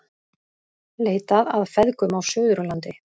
Leitað að feðgum á Suðurlandi